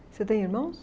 Você tem irmãos?